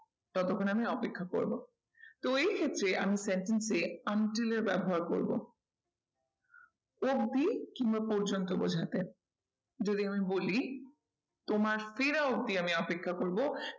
ততক্ষন আমি অপেক্ষা করবো তো এই ক্ষেত্রে আমি sentence এ until এর ব্যবহার করবো অবধি কিংবা পর্যন্ত বোঝাতে যদি আমি বলি তোমার ফেরা অবধি আমি অপেক্ষা করবো